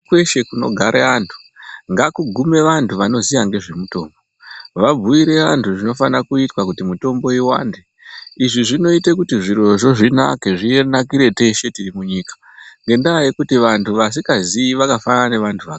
Kweshe kunogara vantu ngakugume vantu vanoziya ngezvemitombo, vabhuire vantu zvinofana kuitwa kuti mitombo iwande, izvinoita kuti zvirozvo zvinake zvinakire teshe tiri munyika ngendaa yekuti vantu vasikaziyi vakafanana nevantu vaka...